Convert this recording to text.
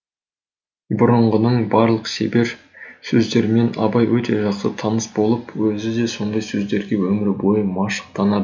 бұрынғының барлық шебер сөздерімен абай өте жақсы таныс болып өзі де сондай сөздерге өмір бойы машықтанады